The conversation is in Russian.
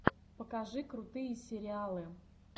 покажи крутые сериалы